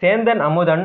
Sendhan Amudhan